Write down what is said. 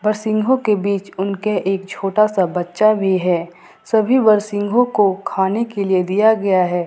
बर सिंघो के बीच उनके एक छोटा सा बच्चा भी है सभी बर सिंघो को खाने के लिए दिया गया है।